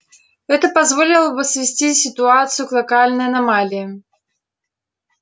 это позволило бы свести ситуацию к локальной аномалии